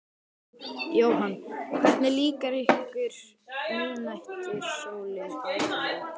Jóhann: Hvernig líkar ykkur miðnætursólin á Íslandi?